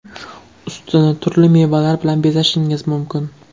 Ustini turli mevalar bilan bezashingiz mumkin.